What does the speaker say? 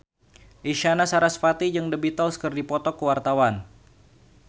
Isyana Sarasvati jeung The Beatles keur dipoto ku wartawan